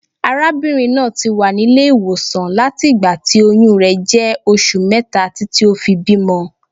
Arábìnrin náà ti wà nílé ìwòsàn láti ìgbà tí oyún rẹ̀ jẹ́ oṣù mẹ́ta títí ó fi bímọ.